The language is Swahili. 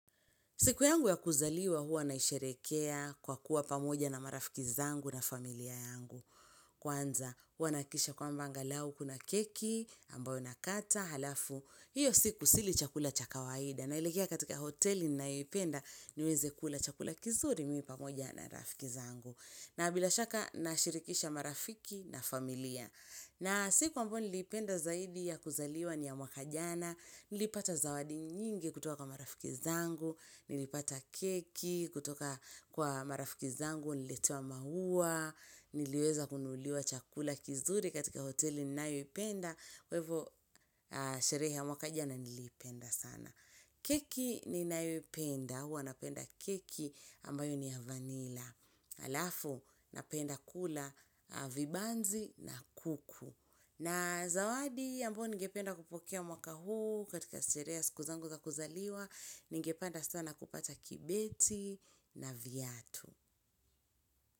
Siku yangu ya kuzaliwa huwa naisherehekea kwa kuwa pamoja na marafiki zangu na familia yangu. Kwanza huwa nahakikisha kwamba angalau kuna keki ambayo nakata halafu. Hiyo siku sili chakula cha kawaida naelekea katika hoteli ninayo ipenda niweze kula chakula kizuri mimi pamoja na marafiki zangu. Na bila shaka nashirikisha marafiki na familia. Na siku ambayo nilipenda zaidi ya kuzaliwa ni ya mwaka jana, nilipata zawadi nyingi kutoka kwa marafiki zangu, nilipata keki kutoka kwa marafiki zangu, nililetewa maua, niliweza kununuliwa chakula kizuri katika hoteli ninayoipenda, kwa hivo sherehe ya mwaka jana niliipenda sana. Keki ninayoipenda, huwa napenda keki ambayo ni ya vanila. Halafu napenda kula vibanzi na kuku. Na zawadi ambayo ningependa kupokea mwaka huu katika sherehe ya siku zangu za kuzaliwa, ningependa sana kupata kibeti na viatu.